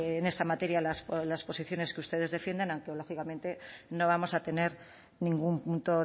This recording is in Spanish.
en esta materia las posiciones que ustedes defienden aunque lógicamente no vamos a tener ningún punto